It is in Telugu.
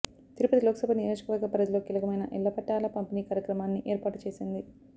తిరుపతి లోక్సభ నియోజకవర్గ పరిధిలో కీలకమైన ఇళ్ల పట్టాల పంపిణీ కార్యక్రమాన్ని ఏర్పాటు చేసింది